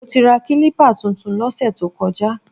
Mo ti ra kílípà tuntun lọ́sẹ̀ tó kọjá